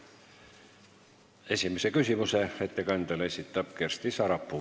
Esimese küsimuse ettekandjale esitab Kersti Sarapuu.